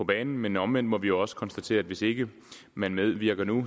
banen men omvendt må vi også konstatere at hvis ikke man medvirker nu